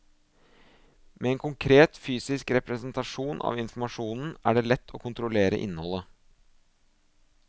Med en konkret fysisk representasjon av informasjonen, er det lett å kontrollere innholdet.